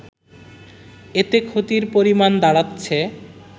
এতে ক্ষতির পরিমাণ দাড়াচ্ছে